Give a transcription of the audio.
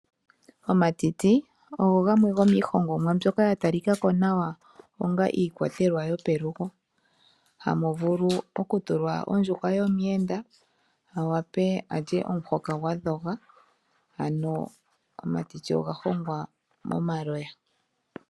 Omatiti ogo gamwe gomiihongomwa mbyoka ya talika ko nawa onga iikwatelwa yopelugo, hamu vulu okutulwa ondjuhwa yomuyenda a wape alye omuhoka gwa dhoga. Ano omatiti oga hongwa momaloya.